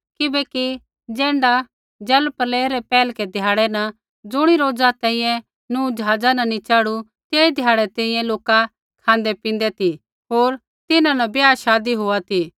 किबैकि ज़ैण्ढा जलप्रलय रै पैहलकै ध्याड़ै न ज़ुणी रोज़ा तैंईंयैं नूह ज़हाज़ा नी च़ढ़ू तेई ध्याड़ै तैंईंयैं लोका खाँदैपींदै ती होर तिन्हां न ब्याहशादी होआ ती